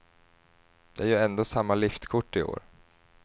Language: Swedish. Det är ju ändå samma liftkort i år.